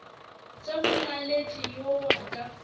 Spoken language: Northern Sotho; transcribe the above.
tša molaletši yo wa ka